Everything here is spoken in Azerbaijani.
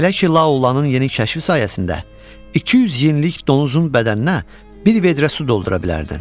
Belə ki, La Olanın yeni kəşfi sayəsində 200 jinlik donuzun bədəninə bir vedrə su doldura bilərdin.